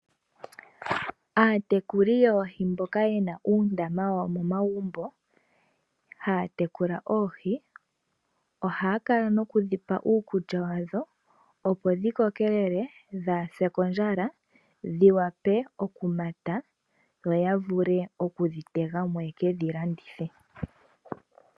Aatekuli yoohi mboka yena uundama wayo momagumbo. Ohaya kala ta ye dhi pe iikulya opo dhi kokelele dhaa ha se kondjala, dhi vule oku koka yo ya vule oku dhi kwata mo yeke dhi landithe.